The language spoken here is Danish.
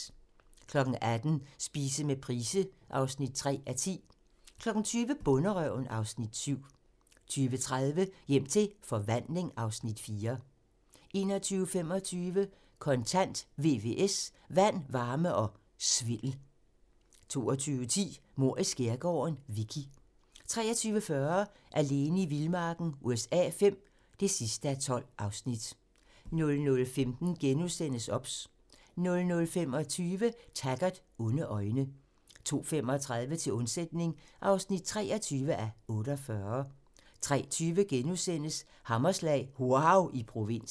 18:00: Spise med Price (3:10) 20:00: Bonderøven (Afs. 7) 20:30: Hjem til forvandling (Afs. 4) 21:25: Kontant: VVS - Vand, varme og svindel 22:10: Mord i skærgården: Vicky 23:40: Alene i vildmarken USA V (12:12) 00:15: OBS * 00:25: Taggart: Onde øjne 02:35: Til undsætning (23:48) 03:20: Hammerslag - wauw i provinsen *